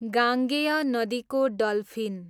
गाङ्गेय नदीको डल्फिन